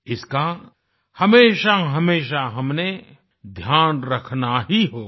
इसका हमेशाहमेशा हमने ध्यान रखना ही होगा